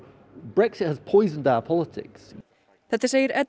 þetta segir